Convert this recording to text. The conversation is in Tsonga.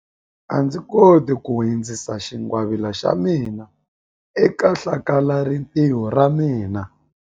A ndzi koti ku hundzisa xingwavila xa mina eka hlakalarintiho ra ra mina.